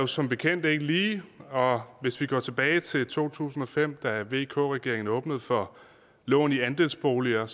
som bekendt ikke lige og hvis vi går tilbage til to tusind og fem da vk regeringen åbnede for lån i andelsboliger